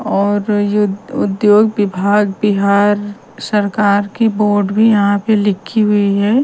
और यु उद्योग विभाग बिहार सरकार की बोर्ड भी यहाँ पे लिखी हुई हैं ।